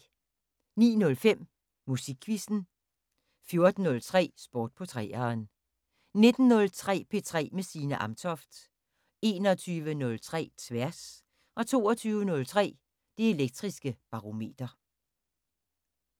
09:05: Musikquizzen 14:03: Sport på 3'eren 19:03: P3 med Signe Amtoft 21:03: Tværs 22:03: Det Elektriske Barometer